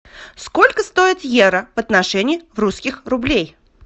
сколько стоит евро в отношении русских рублей